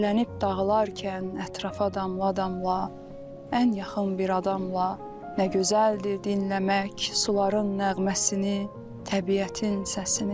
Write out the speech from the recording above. Çilənib dağılarkən ətrafa adamla, ən yaxın bir adamla, nə gözəldir dinləmək suların nəğməsini, təbiətin səsini.